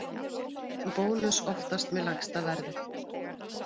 Bónus oftast með lægsta verðið